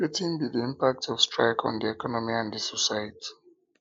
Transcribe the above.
wetin be di impact of strike on di economy and di society